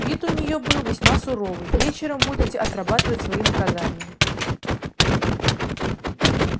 вид у неё был весьма суровый вечером будете отрабатывать свои наказания